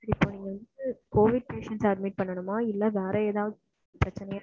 இப்போ நீங்க வந்து covid patient அ admit பண்ணனுமா இல்ல வேற ஏதாவது பிரச்சனைய?